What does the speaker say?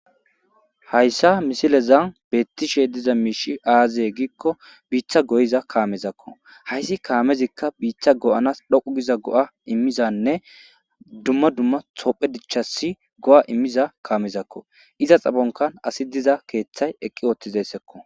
hayssa misile zan beettishe diza miishi aaziye giikko biiththa goyiza kaamezakko hayssi kaamezikka biiththa go7anas dhoqu giza go7a immizanne dumma dumma tophe dichchasi go7a immiza kaamezakko iza xabonkan asi diza keeththay eqqi ooththizessekko